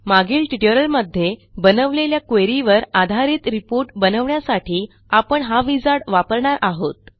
मागील ट्युटोरियल मध्ये बनवलेल्या क्वेरी वर आधारित रिपोर्ट बनवण्यासाठी आपण हा विझार्ड वापरणार आहोत